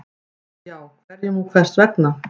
Ef já, hverjum og hvers vegna?